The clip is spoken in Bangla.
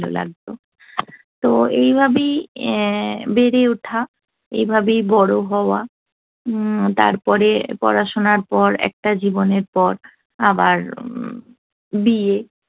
তো এইভাবেই এর বেড়ে ওঠা। এভাবেই বড় হওয়া। উম তারপরে পড়াশোনার পর একটা জীবনের পর আবার বিয়ে